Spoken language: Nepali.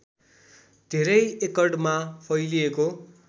धेरै एकडमा फैलिएको